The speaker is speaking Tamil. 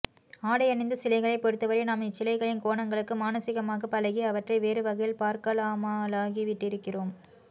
ஆடையணிந்த சிலைகளைப் பொறுத்தவரை நாம் இச்சிலைகளின் கோணங்களுக்கு மானசீகமாகப் பழகி அவற்றை வேறு வகையில் பார்க்காமலாகிவிட்டிருக்கிறோம்